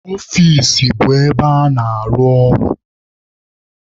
Ọfici bụ ebe a na-anọ arụ ọrụ.